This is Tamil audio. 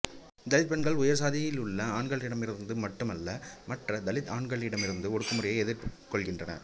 தலித் பெண்கள் உயர் சாதியிலுள்ள ஆண்களிடமிருந்து மட்டுமல்ல மற்ற தலித் ஆண்களிடமிருந்தும் ஒடுக்குமுறையை எதிர்கொள்கின்றனர்